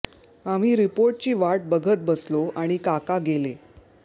आम्ही रिपोर्टची वाट बघत बसलो आणि काका गेले